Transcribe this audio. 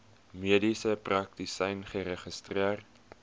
mediese praktisyn geregistreer